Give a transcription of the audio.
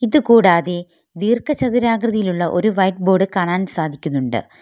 ഇത് കൂടാതെ ദീർഘചതുരാകൃതിയിലുള്ള ഒരു വൈറ്റ് ബോർഡ് കാണാൻ സാധിക്കുന്നുണ്ട്.